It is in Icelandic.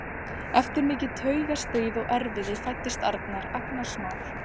Eftir mikið taugastríð og erfiði fæddist Arnar, agnarsmár.